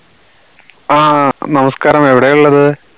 ആഹ് നമസ്കാരം എവിടെയാള്ളത്